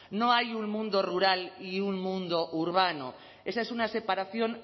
no hay un mundo rural y un mundo urbano esa es una separación